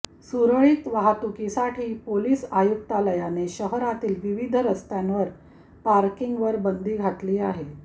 सुरळीत वाहतुकीसाठी पोलिस आयुक्तालयाने शहरातील विविध रस्त्यांवर पार्किंगवर बंदी घातली आहे